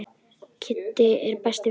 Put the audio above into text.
Kiddi er besti vinur hans.